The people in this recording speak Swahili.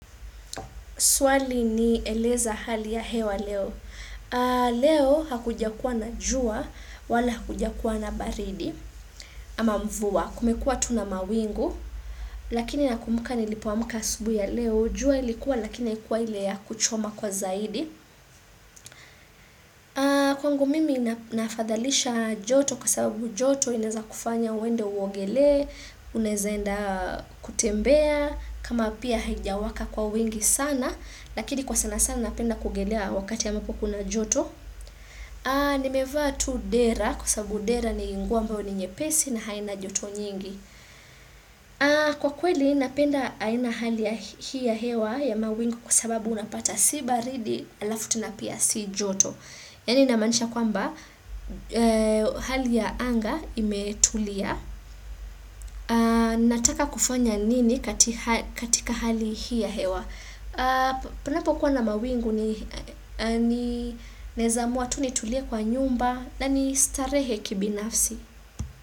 Swali ni eleza hali ya hewa Leo. Leo hakujakuwa na jua wala hakujakuwa na baridi ama mvua. Kumekua tu na mawingu lakini nakumbuka nilipoamka asubuhi ya Leo. Jua ilikuwa lakini haikuwa ile ya kuchoma kwa zaidi. Kwangu mimi nafadhalisha joto kwa sababu joto inaeza kufanya uende uogelee Unaeza enda kutembea kama pia haijawaka kwa wingi sana Lakini kwa sana sana napenda kuogelea wakati ambapo kuna joto Nimevaa tu dera kwa sababu dera ni nguo ambao ni nyepesi na haina joto nyingi Kwa kweli napenda aina hali ya hewa ya mawingu kwa sababu unapata si baridi alafu tena pia si joto Yani namanisha kwamba hali ya anga imetulia. Nataka kufanya nini katika hali hii ya hewa. Panapokuwa na mawingu ni naeza amuwa tu nitulie kwa nyumba na nistarehe kibinafsi.